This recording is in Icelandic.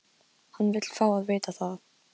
Hann vill fá að vita það.